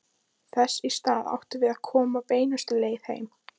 Þess í stað áttum við að koma beinustu leið heim.